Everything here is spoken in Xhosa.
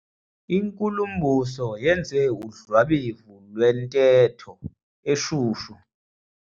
Inkulumbuso yenze udlwabevu lwentetho eshushu.